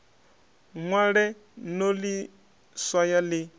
ṅwale no ḽi swaya ḽi